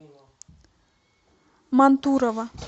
мантурово